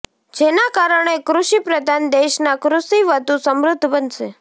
જેના કારણે કૃષિ પ્રધાન દેશના કૃષિ વધુ સમૃધ્ધ બનશે